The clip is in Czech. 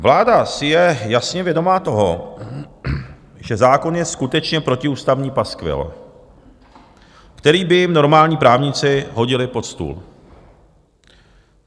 Vláda si je jasně vědoma toho, že zákon je skutečně protiústavní paskvil, který by jim normální právníci hodili pod stůl.